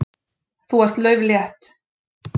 Þú ert lauflétt.